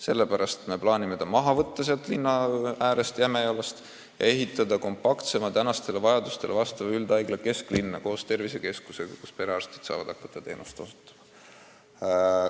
Seepärast me plaanime selle seal linna ääres Jämejalas maha võtta ja ehitada kesklinna kompaktsema tänapäeva vajadustele vastava üldhaigla koos tervisekeskusega, kus perearstid saavad hakata teenust osutama.